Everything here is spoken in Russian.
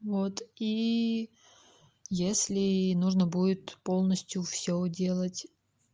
вот и если нужно будет полностью всё делать